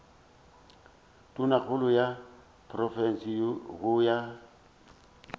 tonakgolo ya profense go ya